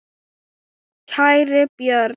Kæri Björn.